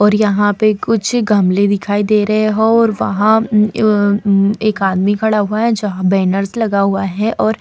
और यहाँ पे कुछ गमले दिखाई दे रहें हैं और वहाँ उम अ उम एक आदमी खड़ा हुआ है जहाँ बैनर्स लगा हुआ है और --